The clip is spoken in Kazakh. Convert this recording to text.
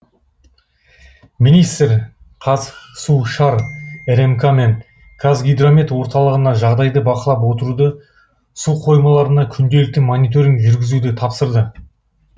министр қаз су шар рмк мен қазгидромет орталығына жағдайды бақылап отыруды су қоймаларына күнделікті мониторинг жүргізуді тапсырды